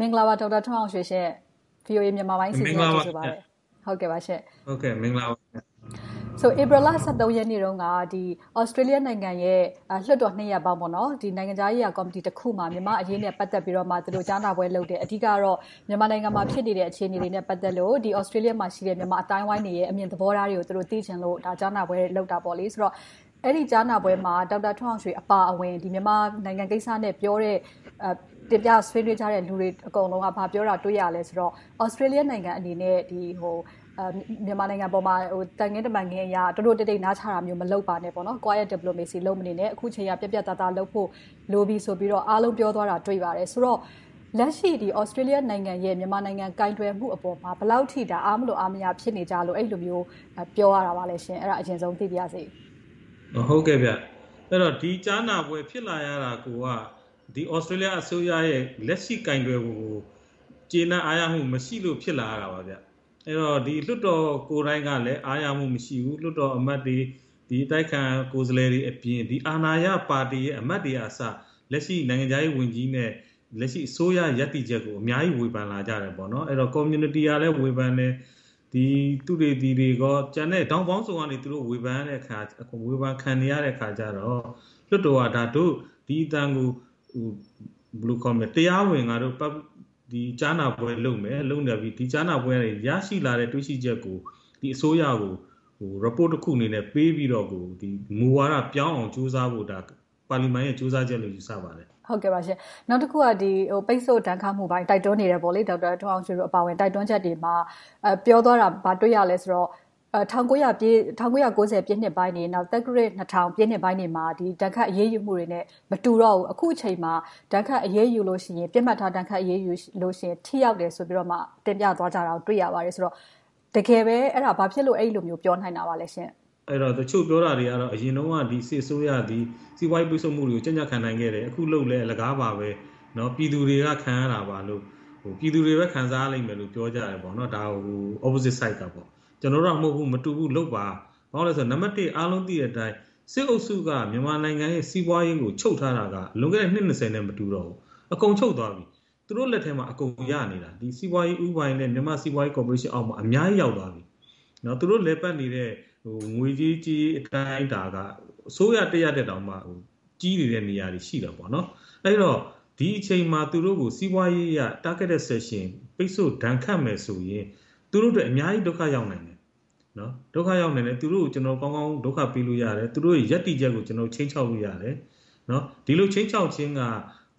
မင်္ဂလာပါ ဒေါက်တာထွန်းအောင်ရွှေရှင့်။ VOA မြန်မာပိုင်းအစီအစဉ်ကို ကြိုဆိုပါတယ်။ ဧပြီလ ရက်နေ့တုန်းက သြစတေးလျနိုင်ငံရဲ့ လွှတ်တော်နှစ်ရပ်ပေါင်းရဲ့ နိုင်ငံခြားရေးရာကော်မတီတစ်ခုမှာ မြန်မာ့အရေးနဲ့ ပတ်သက်ပြီးတော့ ကြားနာပွဲလုပ်တယ်။ အဓိကတော့ မြန်မာနိုင်ငံမှာ ဖြစ်နေတဲ့ အခြေအနေတွေနဲ့ ပတ်သက်လို့ သြစတေးလျမှာရှိတဲ့ မြန်မာအသိုင်းအဝိုင်းတွေရဲ့ အမြင်သဘောထားတွေကို သိချင်လို့ ကြားနာပွဲလုပ်တယ်ဆိုတော့ အဲဒီကြားနာပွဲမှာ ဒေါက်တာထွန်းအောင်ရွှေအပါအဝင် မြန်မာနိုင်ငံကိစ္စနဲ့ပြောတဲ့ တင်ပြဆွေးနွေးကြတဲ့ လူတွေအကုန်လုံးက ဘာပြောတာတွေ့ရသလဲဆိုတော့ သြစတေးလျနိုင်ငံအနေနဲ့ မြန်မာနိုင်ငံပေါ်မျာ သံခင်းတမန်ခင်းအရ တိုးတိုးတိတ်တိတ် နားချတာမျိုး မလုပ်ပါနဲ့ Quite Diplomacy လုပ်မနေနဲ့။ အခုအချိန်က ပြတ်ပြတ်သားသားလုပ်ဖို့ လိုပြီဆိုပြီးတော့ အားလုံးက ပြောသွားတာကို တွေ့ရပါတယ်။ ဆိုတော့ လက်ရှိ သြစတေးလျနိုင်ငံရဲ့ မြန်မာနိုင်ငံပေါ် ကိုင်တွယ်မှုအပေါ် ဘယ်လောက်အထိ အားမလိုအားမရ ဖြစ်နေကြလို့ အဲဒီလိုမျိုး ပြောရတာလဲ။ အဲဒါကို အရင်ဦးဆုံး သိပါရစေ။ ဒီကြားနာပွဲ ဖြစ်လာရတာကိုက သြစတေးလျအစိုးရရဲ့ လက်ရှိကိုင်တွယ်ပုံကို ကျေနပ်အားရမှု မရှိလို့ ဖြစ်လာရတာပါ။ အဲဒီတော့ လွှတ်တော်ကိုယ်တိုင်ကလဲ အားရမှုမရှိဘူး။ လွှတ်တော်အမတ်တွေ၊ အတိုက်အခံ ကိုယ်စားလှယ်တွေအပြင် အာဏာရပါတီရဲ့ အမတ်တွေကအစ လက်ရှိနိုင်ငံခြားရေးဝန်ကြီးနဲ့ အစိုးရရပ်တည်ချက်ကို အများကြီးဝေဖန်လာကြတယ်။ ကွန်မြူနီတီကလည်း ဝေဖန်တယ်။ သုတေသီတွေနဲ့ ထောင့်ပေါင်းစုံကနေ ဝေဖန်ခံနေရတဲ့အခါကြတော့ လွှတ်တော်က ဒို့ဒီအသံကို တရားဝင်ကြားနာပွဲလုပ်မယ်။ လုပ်ပြီးတော့ ဒီကြားနာပွဲကနေ ရရှိလာတဲ့ တွေ့ရှိချက်ကို အစိုးရကို report တခုအနေနဲ့ပေးပြီးတော့ မူဝါဒပြောင်းအောင် ကြိုးစားဖို့ ပါလီမန်ရဲ့ ကြိုးစားချက်လို့ ယူဆပါတယ်။ နောက်တခုက ပိတ်စို့ဒဏ်ခတ်မှုပေါ် တိုက်တွန်းနေတဲ့ ဒေါက်တာထွန်းအောင်ရွှေတို့ တိုက်တွန်းချက်တွေမှာ ပြောသွားတာ ဘာတွေ့ရသလဲဆိုတော့ ၁၉၉၀ ပြည့်နှစ်ပိုင်းတွေ၊ သက္ကရာဇ် ၂၀၀၀ ပြည့်နှစ်ပိုင်းတွေမှာ ဒဏ်ခတ်အရေးယူမှုတွေနဲ့ မတူတော့ဘူး။ အခုအချိန်မှာ ဒဏ်ခတ်အရေးယူတဲ့အခါမှာ ပစ်မှတ်ထား ဒဏ်ခတ်အရေးယူမယ်ဆိုရင် ထိရောက်တယ်ဆိုပြီးတော့ တင်ပြသွားကြတာကို တွေ့ရပါတယ်။ တကယ်ပဲ အဲဒီလို ဘာကြောင့်ပြောနိုင်ပါလဲရှင့်။ တချို့ပြောကြတာတွေကတော့ အရင်တုန်းက စစ်အစိုးရက စီးပွားရေးပိတ်စို့မှုတွေကို ကြံ့ကြံ့ခံနိုင်ခဲ့တယ်။ အခုလုပ်လဲ အလကားပါပဲ။ ပြည်သူတွေက ခံရတာပါလို့၊ ပြည်သူတွေပဲ ခံစားရမယ်လို့ ပြောကြတယ်။ ဒါကို opposite side ကပေါ့။ ကျနော်တို့က မတူဘူး။ လုပ်ပါ ဘာဖြစ်လို့လဲဆိုတော့ အားလုံးသိတဲ့အတိုင်း စစ်အုပ်စုက မြန်မာနိုင်ငံရဲ့ စီးပွားရေးကို ချုပ်ထားတာက လွန်ခဲ့တဲ့ နှစ် နဲ့ မတူတော့ဘူး။ အကုန်ချုပ်သွားတာ။ သူတို့လက်ထဲမှာ အကုန်ရနေတာ။ စီးပွားရေးဦးပိုင်နဲ့ မြန်မာ့စီးပွားရေးကော်ပိုရေးရှင်အောက်မှာ အများကြီးရောက်သွားပြီ။ သူတို့လည်ပတ်နေတဲ့ ငွေရေးကြေးရေး အတိုင်းအတာက အစိုးရတရပ်ထက် ကြီးနေတဲ့ နေရာတွေ ရှိနေတယ်။ အဲဒီတော့ ဒီအချိန်မှာ သူတို့ကို စီးပွားရေးအရ Targeted Sanction ပိတ်စို့ဒဏ်ခတ်မယ်ဆိုရင် သူတို့အတွက် အများကြီးဒုက္ခရောက်နိုင်တယ်။ သူတို့ကို ကျနော်တို့ ကောင်းကောင်းဒုက္ခပေးနိုင်တယ်။ သူတို့တွေရဲ့ ရပ်တည်ချက်ကို ခြိမ်းခြောက်လို့ရတယ်။ ဒီလိုခြိမ်းခြောက်ခြင်းက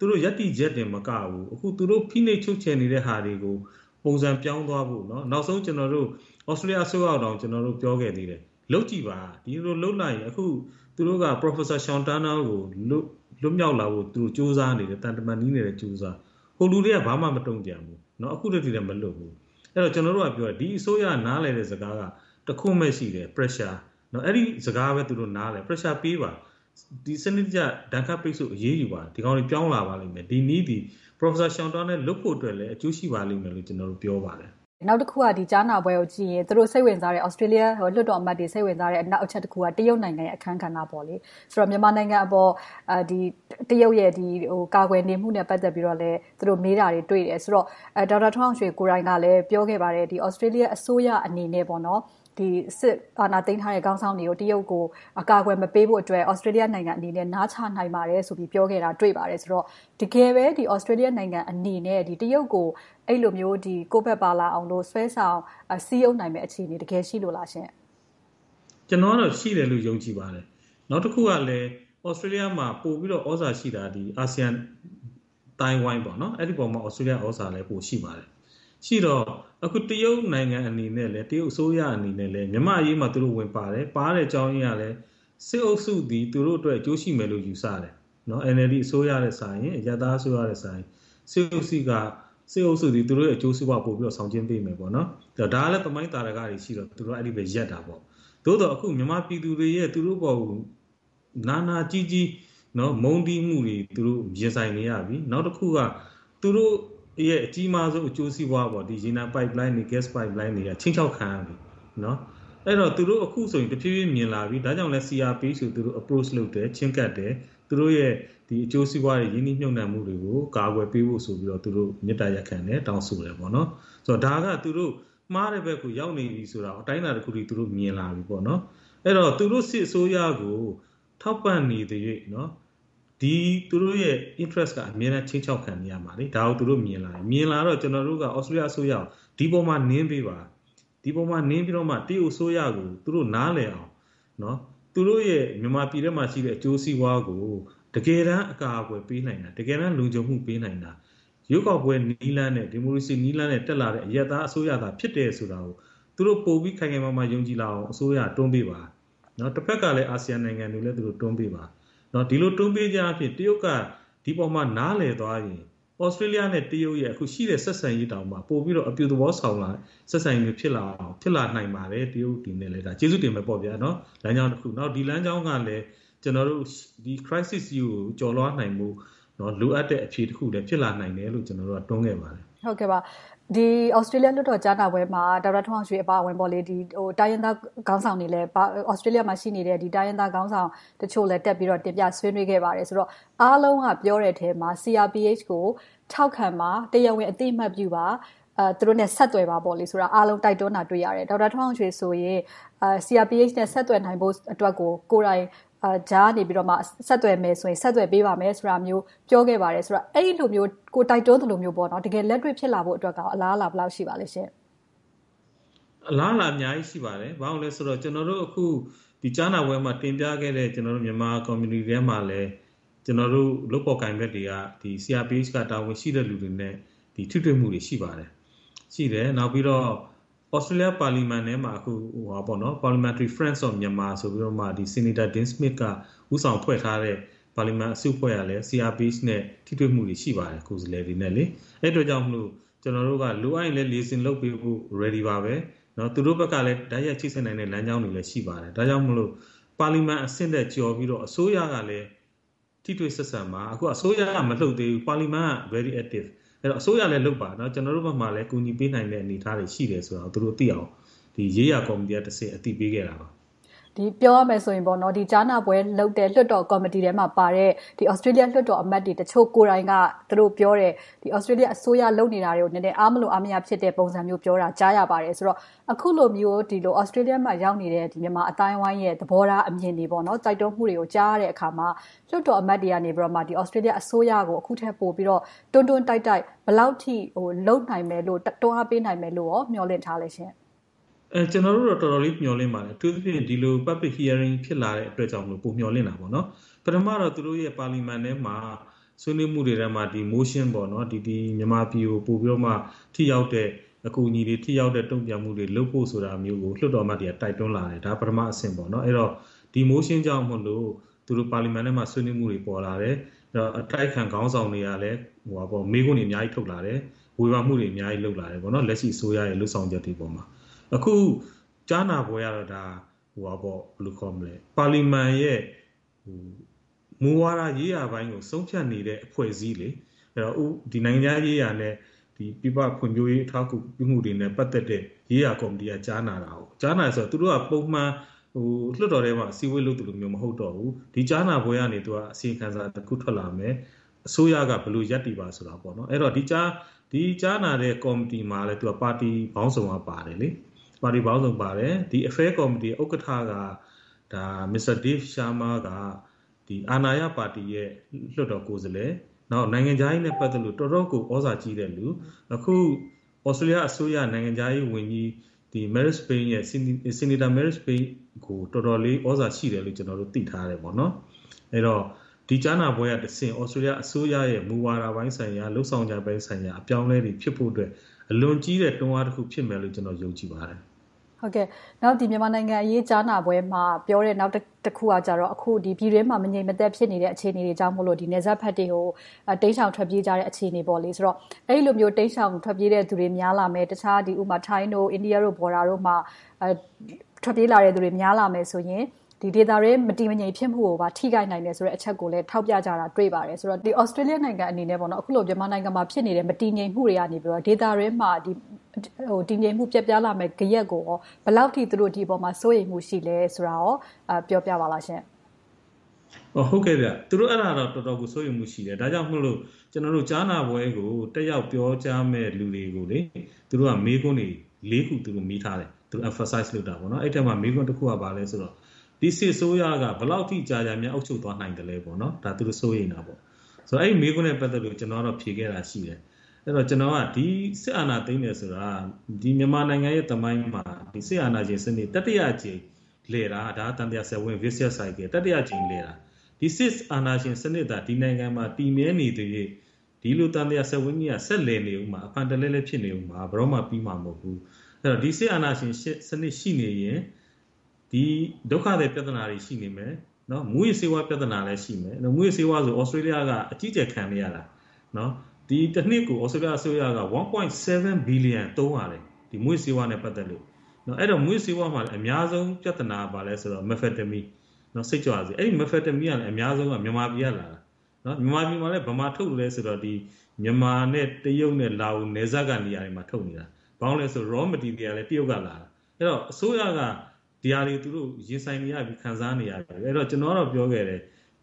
သူတို့ရပ်တည်ချက်တင်မကဘူး၊ အခု သူတို့ဖိနှိပ်ချုပ်ချယ်နေတဲ့ဟာတွေကို ပုံစံပြောင်းသွားဖို့။ နောက်ဆုံး ကျနော်တို့ သြစတေးလျအစိုးရကိုတောင် ပြောခဲ့သေးတယ်။ လုပ်ကြည့်ပါ။ ဒီလိုလုပ်လိုက်ရင် သူတို့က Professor Sean Turnell လွတ်မြောက်လာဖို့ကို ကြိုးစားနေတယ်။ သံတမန်ရေးနဲ့လည်း ကြိုးစားနေတယ်။ စစ်တပ်က ဘာမှမတုံ့ပြန်ဘူး။ အခုထက်ထိလဲ မလွတ်ဘူး။ ကျနော်တို့ကပြောတာ ဒီအစိုးရ နားလည်တဲ့စကားက တခွန်းပဲရှိတယ် ‘Pressure’ အဲဒီစကားကိုပဲ သူတို့နားလည်တယ်။ Pressure ပေးပါ။ စနစ်တကျ ဒဏ်ခတ်အရေးယူပါ။ ဒီကောင်တွေ ပြောင်းလာပါလိမ့်မယ်။ ဒီနည်းသည် Professor Sean Turnell လွတ်ဖို့အတွက်လည်း အကျိုးရှိပါလိမ့်မယ်လို့ ကျနော်တို့ ပြောပါတယ်။ နောက်တခုက ဒီကြားနာပွဲကိုကြည့်ရင် သူတို့စိတ်ဝင်စားတဲ့ သြစတေးလျ လွှတ်တော်အမတ်တွေ စိတ်ဝင်စားတဲ့ နောက်တချက်က တရုတ်နိုင်ငံရဲ့ အခန်းကဏ္ဍ။ ဆိုတော့ မြန်မာနိုင်ငံအပေါ် တရုတ်ရဲ့ ကာကွယ်နေမှုနဲ့ ပတ်သက်လို့လဲ သူတို့မေးတာတွေကို တွေ့ရတယ်ဆိုတော့ ဒေါက်တာထွန်းအောင်ရွှေကိုယ်တိုင်ကလဲ ပြောခဲ့ပါတယ် သြစတေးလျအစိုးရအနေနဲ့ စစ်အာဏာသိမ်းထားတဲ့ စစ်ခေါင်းဆောင်တွေကို တရုတ်ကို အကာအကွယ်မပေးဖို့ သြစတေးလျနိုင်ငံအနေနဲ့ နားချနိုင်ပါတယ်ဆိုပြီး ပြောခဲ့တာကို တွေ့ရပါတယ်။ တကယ်ပဲ သြစတေးလျနိုင်ငံအနေနဲ့ တရုတ်ကို အဲဒီလိုမျိုး ကိုယ်ဘက်ပါလာအောင်လို့ ဆွဲဆောင်စည်းရုံးနိုင်မယ့် အခြေအနေ တကယ်ရှိလို့လားရှင့်။ ကျနော်ကတော့ ရှိတယ်လို့ ယုံကြည်ပါတယ်။ နောက်တခုကလဲ သြစတေးလျမှာ ပိုပြီးတော့ သြဇာရှိတာက အာဆီယံအသိုင်းအဝိုင်း။ အဲဒီအပေါ် သြစတေးလျ သြဇာက ပိုရှိပါတယ်။ ရှိတော့ တရုတ်နိုင်ငံအနေနဲ့ တရုတ်အစိုးရအနေနဲ့ မြန်မာ့အရေးမှာ သူတို့ဝင်ပါတယ်။ ဝင်ပါတဲ့အကြောင်းရင်းက စစ်အုပ်စုသည် သူတို့အတွက် အကျိုးရှိမယ်လို့ ယူဆတယ်။ NLD အစိုးရ၊ အရပ်သားအစိုးရထက်စာရင် စစ်အုပ်စုက သူတို့ရဲ့ အကျိုးစီးပွားကို ပိုပြီးတော့ ဆောင်ကျဉ်ပေးမယ်။ ဒါကလဲ သမိုင်းသာဓကတွေ ရှိတာကြောင့် သူတို့က အဲဒီဘက် ရပ်တာပေါ့။ သို့သော် မြန်မာပြည်သူတွေရဲ့ သူတို့အပေါ် နာနာကျည်းကျည်း မုန်းတီးမှုတွေ သူတို့ရင်ဆိုင်နေရပြီ။ နောက်တခုက သူတို့ရဲ့ အကြီးမားဆုံး အကျိုးစီးပွား - ရေနံပိုက်လိုင်းတွေ၊ ဂတ်စ်ပိုက်လိုင်းတွေက ခြိမ်းခြောက်ခံနေရတယ်။ အဲဒီတော့ အခုဆိုရင် သူတို့တဖြည်းဖြည်း မြင်လာပြီ။ ဒါကြောင့်လဲ သူတို့ CRPH ကို Approach ချဉ်းကပ်တယ်။ သူတို့ရဲ့ အကျိုးစီးပွားတွေ၊ ရင်းနှီးမြုပ်နံှမှုတွေကို ကာကွယ်ပေးဖို့ဆိုပြီး မေတ္တာရပ်ခံတယ်။ တောင်းဆိုတယ်။ ဒါက သူတို့မှားတဲ့ဘက်ကို ရောက်နေပြီ အတိုင်းအတာတခုအထိ မြင်လာပြီပေါ့။ အဲဒီတော့ သူတို့စစ်အစိုးရကို ထောက်ပံ့နေသရွေ့၊ သူတို့ရဲ့ interest က အမြဲတမ်းခြိမ်းခြောက်ခံနေရမှာ။ ဒါကို သူတို့မြင်လာတယ်။ မြင်လာတော့ ကျနော်တို့က သြစတေးလျအစိုးရကို ဒီပေါ်မှာ နင်းပေးပါ။ ဒီပေါ်မှာ နင်းပေးပါ။ ဒီပေါ်မှာ နင်းပြီးမှ တရုတ်အစိုးရကို သူတို့နားလည်အောင် သူတို့ရဲ့ မြန်မာပြည်ထဲမှာရှိတဲ့ အကျိုးစီးပွားတွေကို တကယ်တမ်း အကာအကွယ်ပေးနိုင်တာ၊ တကယ်တမ်း လုံခြုံမှုပေးနိုင်တာ ရွေးကောက်ပွဲနည်းလမ်းနဲ့ ဒီမိုကရေစီနည်းလမ်းနဲ့ တက်လာတဲ့ အရပ်သားအစိုးရသာ ဖြစ်တယ်ဆိုတာကို သူတို့ပိုပြီး ခိုင်ခိုင်မာမာ ယုံကြည်လာအောင် အစိုးရက တွန်းပေးပါ။ တဘက်ကလဲ အာဆီယံနိုင်ငံတွေလည်း သူတို့တွန်းပေးပါ။ ဒီလို တွန်းပေးခြင်းအားဖြင့် တရုတ်က ဒီပေါ် နားလည်သွားရင် သြစတေးလျနဲ့ တရုတ်တို့ရဲ့ အခုရှိတဲ့ ဆက်ဆံရေးတောင်မှ ပိုပြီးတော့ အပြုသဘောဆောင်လာတဲ့ ဆက်ဆံရေးမျိုး ဖြစ်လာနိုင်ပါတယ်။ တရုတ်ပြည်အနေနဲ့လည်း ကျေးဇူးတင်မယ်ပေါ့။ ဒါက လမ်းကြာင်းတခု။ ဒီလမ်းကြောင်းကလဲ Crisis ကြီးကို ကျော်လွှာသွားဖို့ လိုအပ်တဲ့ အခြေအနေတခုလို့လဲ ကျနော်တို့က တွန်းခဲ့ပါတယ်။ ဒီသြစတေးလျ ကြားနာပွဲမှာ ဒေါက်တာထွန်းအောင်ရွှေအပါအဝင် သြစတေးလျမှာ ရှိနေတဲ့ တိုင်းရင်းသားခေါင်းဆောင်တချို့လဲ တက်ပြီးတော့ တင်ပြဆွေးနွေးခဲ့ပါတယ်ဆိုတော့ အားလုံးကပြောတဲ့ထဲမှာ CRPH ကို ထောက်ခံပါ။ တရားဝင်အသိအမှတ်ပြုပါ။ သူတို့နဲ့ ဆက်သွယ်ပါဆိုတာကို အားလုံးတိုက်တွန်းတာကို တွေ့ရတယ်။ ဒေါက်တာထွန်းအောင်ရွှေဆိုရင် CRPH နဲ့ ဆက်သွယ်နိုင်ဖို့အတွက်ကို ကိုယ်တိုင်ကြားကနေ ဆက်သွယ်မယ်ဆိုရင် ဆက်သွယ်ပေးပါမယ်ဆိုတာမျိုးကို ပြောခဲ့ပါတယ်ဆိုတော့ အဲဒီလိုမျိုး ကိုယ်တိုက်တွန်းသလိုမျိုး တကယ်လက်တွေ့ဖြစ်လာဖို့ အလားအလာ ဘယ်လောက်ရှိပါသလဲရှင့်။ အလားအလာက အများကြီး ရှိပါတယ်။ ဘာဖြစ်လို့လဲဆိုတော့ ကျနော်တို့ အခုကြားနာပွဲမှာ တင်ပြခဲ့တဲ့ မြန်မာကွန်မြူနီတီထဲမှာလည်း ကျနော်တို့ လုပ်ဖော်ကိုင်ဖက်တွေကလဲ CRPH က တာဝန်ရှိသူတွေနဲ့ ထိတွေ့မှုတွေ ရှိပါတယ်။ နောက်ပြီးတော့ သြစတေးလျပါလီမန်ထဲမှာ အခု Parliament Friends of Myanmar ဆိုပြီး Senator Dean Smith က ဦးဆောင်ဖွဲ့ထားတဲ့ ပါလီမန်အစုအဖွဲ့ကလည်း CRPH ကိုယ်စားလှယ်တွေနဲ့ ထိတွေ့မှုတွေ ရှိပါတယ်။ အဲဒါကြောင့်မို့ ကျနော်တို့တွေက လိုအပ်ရင်လဲ Liaison လုပ်ပေးဖို့ ready ပါပဲ။ သူတို့ဘက်ကလဲ တိုက်ရိုက်ချိတ်ဆက်နိုင်တဲ့ လမ်းကြောင်းတွေလည်း ရှိပါတယ်။ ဒါကြောင့်မို့ ပါလီမန်အဆင့်ထက် ကျော်ပြီးတော့ အစိုးရကလည်း ထိတွေ့ဆက်ဆံပါ။ အခုက အစိုးရက မလှုပ်သေးဘူး။ ပါလီမန်က very active. ဒါကြောင့် အစိုးရလည်းလုပ်ပါ။ ကျနော်တို့ဘက်မှာလဲ ကူညီပေးနိုင်တဲ့ အနေအထားတွေ ရှိတယ်ဆိုတာကို သူတို့သိအောင် ဒီရေးရာကော်မတီကနေ အသိပေးခဲ့တာ ဖြစ်ပါတယ်။ ပြောရမယ်ဆိုရင် ဒီကြားနာပွဲလုပ်တဲ့ လွှတ်တော်ကော်မတီထဲမှာပါတဲ့ သြစတေးလျလွှတ်တော်အမတ်တွေ တချို့ကိုယ်တိုင်က ပြောတယ် သြစတေးလျအစိုးရ လုပ်နေတာတွေကို အားမလိုအားမရ ဖြစ်နေတဲ့ပုံစံမျိုးပြောတာကို ကြားရပါတယ်။ ဆိုတော့ အခုလိုမျိုး သြစတေးလျမှာ ရောက်နေတဲ့ မြန်မာအသိုင်းအဝိုင်းရဲ့ သဘောထားအမြင်တွေ၊ တိုက်တွန်းမှုတွေကို ကြားရတဲ့အခါမှာ လွှတ်တော်အမတ်တွေကနေ သြစတေးလျအစိုးရကို အခုထက်ပိုပြီးတော့ တွန်းတွန်းတိုက်တိုက် ဘယ်လောက်အထိ လုပ်နိုင်မယ်လို့ တွန်းအားပေးနိုင်မယ်လို့ မျှော်လင့်ထားသလဲရှင့်။ ကျနော်တို့ကတော့ တော်တော်လေး မျှော်လင့်ပါတယ်။ အထူးသဖြင့် ဒီလို Public Hearing ဖြစ်လာတဲ့အတွက်ကြောင့်မို့ ပိုမျှော်လင့်တာပေါ့။ ပထမတော့ သူတို့ရဲ့ ပါလီမန်ထဲမှာ ဆွေးနွေးမှုတွေထဲမှာ motion မြန်မာပြည်ကို ပိုပြီးတော့ ထိရောက်တဲ့ အကူအညီတွေ၊ ထိရောက်တဲ့ တုံ့ပြန်မှုတွေ လုပ်ဖို့ဆိုတာမျိုးကို လွှတ်တော်အမတ်တွေက တိုက်တွန်းလာတယ်။ ဒါက ပထမအဆင့်။ ဒီ motion ကြောင့်မို့ သူတို့ပါလီမန်ထဲမှာ ဆွေးနွေးမှုတွေ ပေါ်လာတယ်။ အတိုက်အခံခေါင်းဆောင်တွေကလည်း မေးခွန်းတွေ အများကြီးထုတ်လာတယ်။ ဝေဖန်မှုတွေ အများကြီးလုပ်လာတယ်။ လက်ရှိအစိုးရရဲ့ လုပ်ဆောင်ချက်တွေအပေါ်မှာ။ အခု ကြားနာပွဲကတော့ ပါလီမန်ရဲ့ မူဝါဒရေးရာပိုင်းကို ဆုံးဖြတ်နေတဲ့ အဖွဲ့အစည်း။ နိုင်ငံခြားရေးရာနဲ့ ပြည်ပဖွံ့ဖြိုးရေး အထောက်အကူပြုမှုတွေနဲ့ ပတ်သက်တဲ့ ရေးရာကော်မတီက ကြားနာတာ။ သူတို့က ပုံမှန်လွှတ်တော်ထဲမှာ အစည်းအဝေးလုပ်သလိုမျိုး မဟုတ်တော့ဘူး။ ဒီကြားနာပွဲကနေ အစီရင်ခံစာတခု ထွက်လာမယ်။ အစိုးရက ဘယ်လိုရပ်တည်ပါဆိုတာ။ ဒီကြားနာတဲ့ ကော်မတီမှာ ပါတီပေါင်းစုံက ပါတယ်။ ဒီ Affair Committee ဥက္ကဋ္ဌက Mr. Dave Sharma က အာဏာရပါတီရဲ့ လွှတ်တော်ကိုယ်စားလှယ်။ နောက် နိုင်ငံခြားရေးနဲ့ ပတ်သက်လို့ တော့်တော်ကို သြဇာကြီးတဲ့လူ။ အခု သြစတေးလျအစိုးရ နိုင်ငံခြားရေးဝန်ကြီး Senator Marise Payne ကို တော်တော်လေးသြဇာရှိတယ်လို့ ကျနော်တို့ သိထားတယ်။ အဲဒီတော့ ဒီကြားနာပွဲကတဆင့် သြစတေးလျအစိုးရရဲ့ မူဝါဒပိုင်းဆိုင်ရာ၊ လုပ်ဆောင်ချက်ပိုင်းဆိုင်ရာ အပြောင်းအလဲတွေ ဖြစ်ဖို့အတွက် အလွန်ကြီးတဲ့တွန်းအားတခု ဖြစ်မယ်လို့ ကျနော် ယုံကြည်ပါတယ်။ နောက် မြန်မာနိုင်ငံရေး ကြားနာပွဲမှာ ပြောတဲ့နောက်တခုကကြတော့ ပြည်တွင်းမှာ မငြိမ်မသက်ဖြစ်နေတဲ့ အခြေအနေတွေကြောင့် နယ်စပ်ဘက်တွေကို တိမ်ရှောင်ထွက်ပြေးကြတဲ့ အခြေအနေ။ အဲဒီလို တိမ်ရှောင်ထွက်ပြေးတဲ့လူတွေ များလာမယ့် ထိုင်း၊ အိန္ဒိယ နယ်စပ်ဒေသတွေမှာ ထွက်ပြေးလာမယ့်သူတွေ များလာမယ်ဆိုရင် ဒေသတွင်း မတည်မငြိမ် ဖြစ်မှုကိုပါ ထိခိုက်နိုင်တဲ့ အချက်ကိုပါ ထောက်ပြကြတာ တွေ့ပါတယ်။ သြစတေးလျနိုင်ငံအနေနဲ့ အခုလို မြန်မာနိုင်ငံမှာဖြစ်နေတဲ့ မတည်ငြိမ်မှုတွေကနေ ဒေသတွင်းမှာ တည်ငြိမ်မှုပျက်ပြားလာမယ့် ဂယက်ကို ဘယ်လောက်အထိ ဒီအပေါ်မှာ စိုးရိမ်မှုရှိသလဲဆိုတာကို ပြောပြပါလားရှင့်။ သူတို့ အဲဒါကို တော်တော်လေး စိုးရိမ်မှုရှိတယ်။ ဒါကြောင့်မို့လို့ ကြားနာပွဲကို တက်ရောက်ပြောကြားမယ့် လူတွေကို မေးခွန်းတွေ ခု မေးထားတယ်။ Emphasize လုပ်တာပေါ့။ အဲဒီအထဲမှာ မေးခွန်းတခုက ဘာလဲဆိုတော့ ဒီစစ်အစိုးရက ဘယ်လောက်ထိကြာကြာ အုပ်ချုပ်သွားနိုင်သလဲ။ ဒါက သူတို့ စိုးရိမ်တာ။ အဲဒီမေးခွန်းနဲပ ပတ်သက်လို့ ကျနော်ဖြေခဲ့တာက ဒီစစ်အာဏာသိမ်းတယ်ဆိုတာ မြန်မာနိုင်ငံရဲ့သမိုင်းမှာ စစ်အာဏာရှင်စနစ် တတိယအကြိမ်လည်တာ။ သံသရာစက်ဝိုင်း Vicious Circle - ဒီစစ်အာဏာရှင်စနစ်သာ ဒီနိုင်ငံမှာ တည်မြဲနေသရွေ့ ဒီလိုသံသရာစက်ဝိုင်းကြီးက ဆက်လည်နေမှာ၊ အဖန်တလဲလဲ ဖြစ်နေအုံးမှာ။ ဘယ်တော့မှ ပြီဆုံးသွားမှာ မဟုတ်ဘူး။ ဒီစစ်အာဏာရှင်စနစ် ရှိနေသရွေ့ ဒီဒုက္ခသည်ပြဿနာတွေ ရှိနေမယ်။ မူးယစ်ဆေးဝါး ပြဿနာတွေလည်း ရှိမယ်။ မူးယစ်ဆေးဝါးဆိုရင် သြစတေးလျက အကြီးအကျယ် ခံနေရတာ။ တနှစ်ကို သြစတေးလျအစိုးရက ၁.၇ ဘီလီယံ သုံးရတယ်။ မူးယစ်ဆေးဝါးမှာလည်း အများဆုံး ပြဿနာက ဘာလဲဆိုတော့ Methamphetamine စိတ်ကြွဆေး ဖြစ်တယ်။ အဲဒီဆေးက အများဆုံး မြန်မာပြည်ကလာတာ။ မြန်မာပြည်မှာ ဘယ်မှာထုတ်သလဲဆိုရင် မြန်မာနဲ့ တရုတ်၊ လားအိုနယ်စပ်တွေမှာ ထုတ်နေတာ။ ဘာဖြစ်လို့လဲဆိုတော့ Raw Materials တွေက တရုတ်ကလာတာ။ အဲဒီတော့ အစိုးရက ဒီဟာတွေ ရင်ဆိုင်နေရပြီ၊ ခံစားနေရပြီ။ ကျနော်က ပြောခဲ့တယ်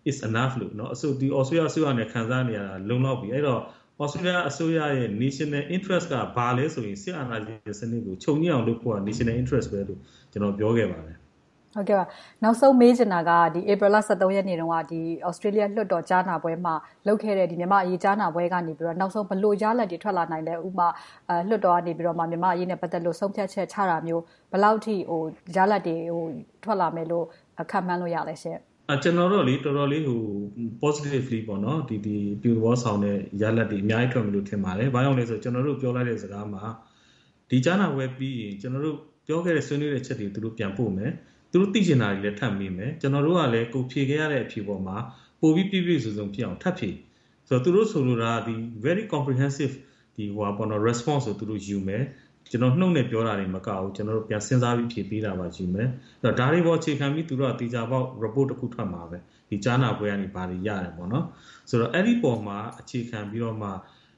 It’s enough သြစတေးလျအစိုးရအနေနဲ့ ခံစားနေရတာ လုံလောက်ပြီ။ အဲဒီတော့ သြစတေးလျအစိုးရရဲ့ National Interest က ဘာလဲဆိုရင် စစ်အာဏာရှင်စနစ်ကို ချုပ်ငြိမ်းအောင်လုပ်ဖို့ National Interest လို့ ကျနော် ပြောခဲ့ပါတယ်။ နောက်ဆုံး မေးချင်တာက ဧပြီလ ရက်နေ့တုန်းက သြစတေးလျလွှတ်တော် ကြားနာပွဲမှာ လုပ်ခဲ့တဲ့ မြန်မာ့အရေး ကြားနာပွဲကနေ နောက်ဆုံး ဘယ်လိုရလဒ်တွေ ထွက်လာနိုင်သလဲ။ နောက်ဆုံး ဥပမာ လွှတ်တော်ကနေ မြန်မာ့အရေးနဲ့ ပတ်သက်လို့ ဆုံးဖြတ်ချက်ချတာမျိုး ဘယ်လောက်အထိ ရလဒ်တွေ ထွက်လာမယ်လို့ ခန့်မှန်းလို့ ရသလဲရှင့်။ ကျနော်ကတော့ တော်တော်လေးကို Positively အပြုသဘောဆောင်မယ့် ရလဒ်တွေ အများကြီးရမယ်လို့ ထင်ပါတယ်။ ဘာကြောင့်လဲဆိုတော့ ကျနော်တို့ ပြောလိုက်တဲ့ စကားမှာ ဒီကြားနာပွဲပြီးရင် ကျနော်တို့ ပြောခဲ့တဲ့ ဆွေးနွေးခဲ့တဲ့အချက်တွေကို ပြန်ပို့မယ်။ သူတို့သိချင်တာတွေကိုလည်း ထပ်မေးမယ်။ ကျနော်တို့ကလည်း ဖြေခဲ့ရတဲ့ အဖြေပေါ်မှာ၊ ပိုပြီးပြည့်ပြည့်စုံစုံဖြစ်အောင် ထပ်ဖြည့်ပေးမယ်။ သူတို့ဆိုလိုတာက Very comprehensive responses တွေကို ယူမယ်။ ကျနော်တို့ နှုတ်နဲ့ပြောတာတင်မကဘူး၊ ပြန်စဉ်းစားပြီး ဖြေပေးတာကိုယူမယ်။ ဒါတွေကို အခြေခံပြီး သူတို့က သေချာပေါက် Report တခု ထွက်မှာပဲ။ ကြားနာပွဲကနေ ဘာတွေရတယ်ဆိုတဲ့အပေါ်မှာ အခြေခံပြီးတော့ သြစ